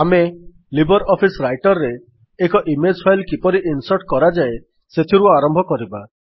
ଆମେ libre office writer ରେ ଏକ ଇମେଜ୍ ଫାଇଲ୍ କିପରି ଇନ୍ସର୍ଟ କରାଯାଏ ସେଥିରୁ ଆରମ୍ଭ କରିବା